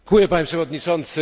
Panie przewodniczący!